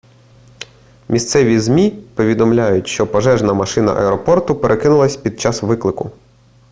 місцеві змі повідомляють що пожежна машина аеропорту перекинулася під час виклику